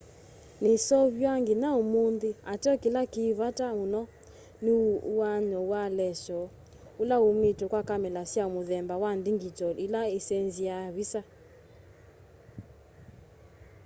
niseuvaw'a nginya umunthi ateo kila ki vata muno ni uaany'o wa leshoo ula umitw'e kwa kamela sya muthemba wa ndingyitol ila isenziaa ivisa